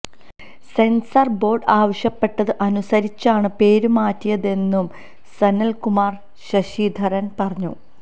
censor board ആവശ്യപ്പെട്ടത് അനുസരിച്ചാണ് പേര് മാറ്റിയതെന്ന് സനല്കുമാര് ശശിധരന് പറഞ്ഞു